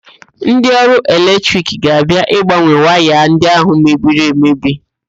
Ndị ọrụ eletrik ga-abia ịgbanwe waya ndị ahụ mebiri emebi.